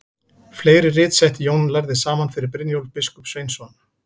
Fleiri rit setti Jón lærði saman fyrir Brynjólf biskup Sveinsson.